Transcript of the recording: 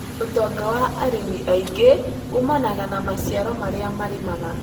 ũtonga wa arĩmi aingĩ ũmanaga na maciaro marĩa marĩmaga